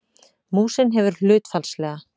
Músin hefur hlutfallslega